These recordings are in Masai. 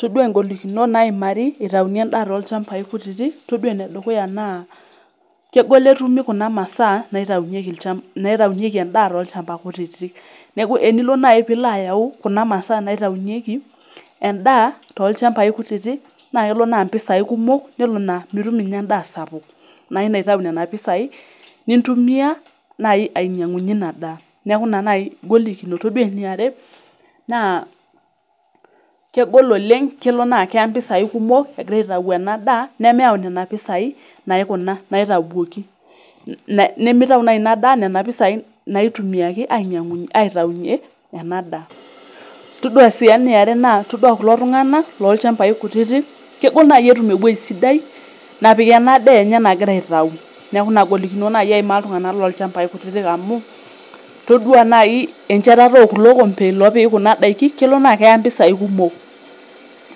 Todua ngolikinot naimari intayuni endaa tolchambai kutiti , todua enedukuya naa kegol etumi kuna masaa naitayunyieki, naitaunyieki endaa tolchambai kutitik neeku enilo nai pilo ayau kuna masaa naitayunyieki endaa tolchambai kutitik , nelo naa mitum ninye endaa sapuk naa ilo aitayu nena pisai nintumia nai ainyiangunyie ina daa niaku ina nai ingolikinot. Todua eniare naa kegol oleng , kelo naa keya nai impisai kumok egirae aitayu ena daa nemeyau nena pisai naikuna , naitawuoki nemitau nai inadaa nena pisai naitumiaki ainyiangunyie eaitaunyie ena daa . Todua sii eniare naa todua kulo tunganak lolchambai kutitik kegol nai etum ewuei sidai napik ena daa enye nagira aitau , niaku nena golikinot nai eimaa iltunganak lolchambai kutitik amu todua naa enchetata okulo kompe lopiki kuna daiki , kelo naa keya mpisai kumok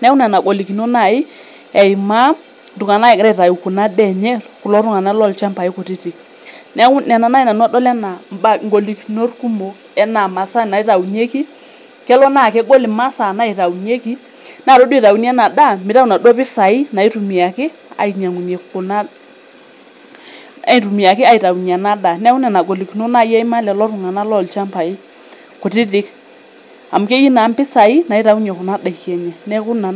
niaku nena golikinot nai eimaa iltunganak egira aimaa kuna daa enye kulo tunganak lolchmbai kutitik. Niaku nena naji nanu adol nanu anaa ngolikinot kumok anaa mmasaa naitayunyieki kelo naa kegol imasaa naitayunyieki naa todua itayuni ena daa mitayu inaduo pisai naitumiaki ainyiangunyie kuna , aitumiaki ainyiangunyie ena daa, niaku nena golikinot naa eimaa iltunganak oota ilchmbai kutitik amu keyieu naa impisai naitayunyie kuna daiki enye, niaku ina naji...